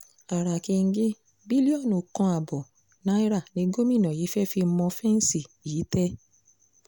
ara kẹ́ńgẹ́ bílíọ̀nù kan ààbọ̀ náírà ni gómìnà yìí fẹ́ẹ́ fi mọ fẹ́ǹsì yí ìtẹ́